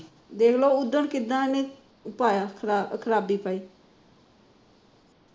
ਦੇਖਲੈ ਉਹ ਦਿਨ ਕਿੱਦਾ ਉਹਨੇ ਖਰਾਬੀ ਪਾਈ